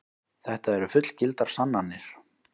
Þetta eru fullgildar sannanir.